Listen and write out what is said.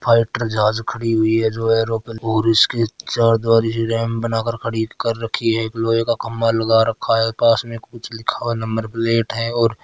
फाइटर जहाज खड़ी हुई है और उसके चार दीवारी बनाकर खड़ी कर रखी है लोहे का खम्भा लगाकर रखी है पास में कुछ लिखा हुआ है नंबर प्लेट है। और --